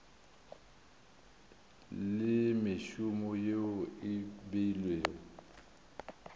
le mešomo yeo e beilwego